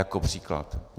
Jako příklad.